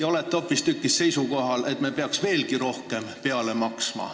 Te olete hoopistükkis seisukohal, et me peaks veelgi rohkem sinna maksma.